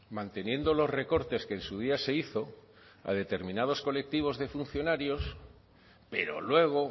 manteniendo los recortes que en su día se hizo a determinados colectivos de funcionarios pero luego